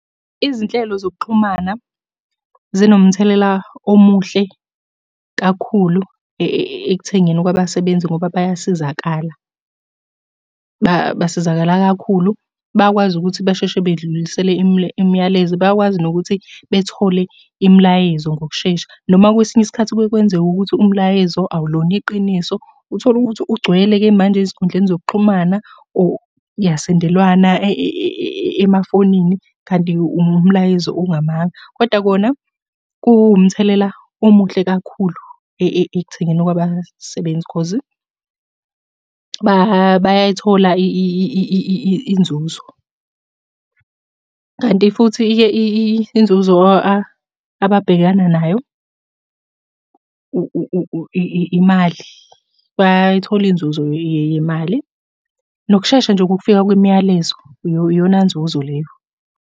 Izinhlelo zokuxhumana, zinomthelela omuhle kakhulu ekuthengeni kwabasebenzi ngoba bayasizakala. Basizakala kakhulu, bayakwazi ukuthi basheshe bedlulisele imiyalezo. Bayakwazi nokuthi bethole imilayezo ngokushesha, noma kwesinye isikhathi kuke kwenzeka ukuthi umlayezo awulona iqiniso. Uthole ukuthi ugcwele-ke manje ezinkundleni zokuxhumana or kuyasendelwana emafonini, kanti umlayezo ongamanga, koda kona kuwumthelela omuhle kakhulu ekuthengeni kwabasebenzi cause bayayithola inzuzo, kanti futhi-ke inzuzo ababhekana nayo, imali. Bayayithola inzuzo yemali, nokushesha nje kokufika kwemiyalezo, iyona nzuzo leyo.